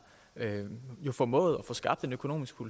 formået at få skabt den økonomi